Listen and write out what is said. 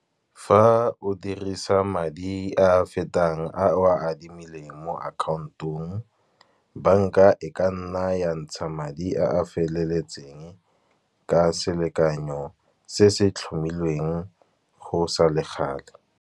Fa o dirisa madi a fetang a o a adimileng mo account-ong, bank-a e ka nna ya ntsha madi a a feleletseng, ka selekanyo se se tlhomilweng go sa le gale.